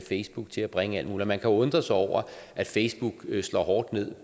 facebook til at bringe alt muligt og man kan undre sig over at facebook slår hårdt ned